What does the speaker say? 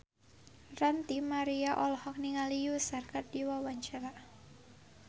Ranty Maria olohok ningali Usher keur diwawancara